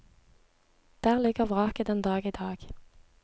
Der ligger vraket den dag i dag.